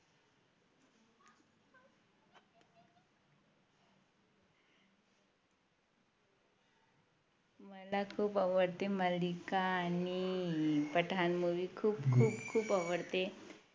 मला खूप आवडते मालिका आणि पठाण Movie खूप खूप खूप आवडते